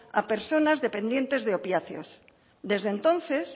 a personas dependientes de opiáceos desde entonces